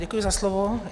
Děkuji za slovo.